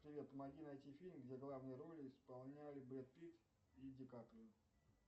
привет помоги найти фильм где главные роли исполняли брэд питт и ди каприо